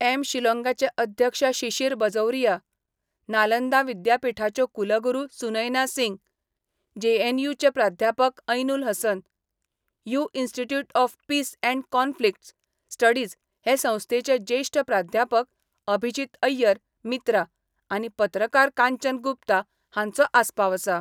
M शिलाँगाचे अध्यक्ष शिशिर बजौरिया, नालंदा विद्यापीठाच्यो कुलगुरू सुनैना सिंग, जे.एन.यु चे प्राध्यापक एैनुल हसन, यु institute of peace and conflict studies हे संस्थेचे ज्येष्ठ प्राध्यापक अभिजित एैय्यर मित्रा आनी पत्रकार कांचन गुप्ता हांचो आस्पाव आसा.